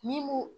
Ni ko